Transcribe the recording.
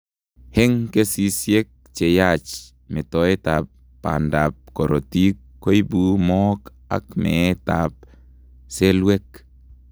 Eng kesisyek cheyach metoet ab bandab korotik koibu mook ak meet ab selelwek